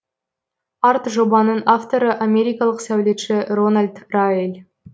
арт жобаның авторы америкалық сәулетші рональд раэль